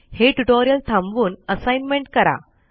हे ट्यूटोरियल थांबवूनAssignment करा